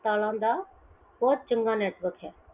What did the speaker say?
ਤਾਰਾਂ ਦਾ ਬਹੁਤ ਚੰਗਾ network ਹੈ